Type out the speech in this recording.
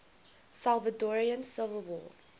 salvadoran civil war